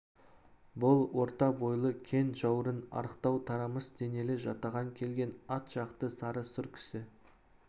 бұл орта бойлы кең жаурын арықтау тарамыс денелі жатаған келген ат жақты сары сұр кісі